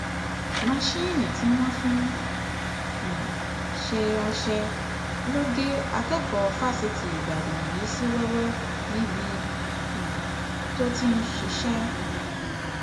masinni tí wọn fi ń um ṣe ọṣẹ ló gé akẹkọọ fásitì ìbàdàn yìí sí wẹwẹ níbi um tó ti ń ṣiṣẹ